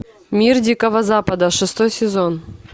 мир дикого запада шестой сезон